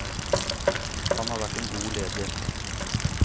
Han har vært en god leder.